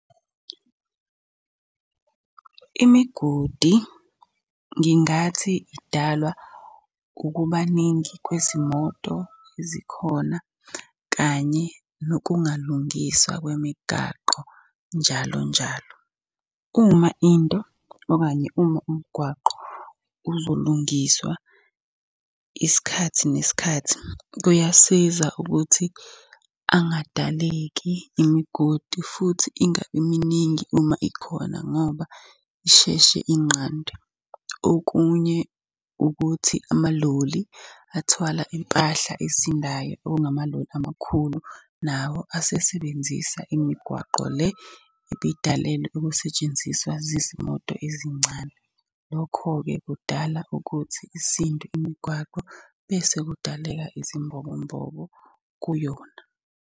Imigodi ngingathi idalwa ukuba ningi kwezimoto ezikhona, kanye nokungalungiswa kwemigaqo njalo njalo. Uma into, okanye uma umgwaqo uzolungiswa isikhathi nesikhathi, kuyasiza ukuthi angadaleki imigodi futhi ingabi miningi uma ikhona ngoba isheshe inqandwe. Okunye ukuthi amaloli athwala impahla esindayo, okungamaloli amakhulu, nawo asesebenzisa imigwaqo le ebidalelwe ukusetshenziswa zizimoto ezincane. Lokho-ke kudala ukuthi isindwe imigwaqo, bese kudaleka izimbobo mbobo kuyona.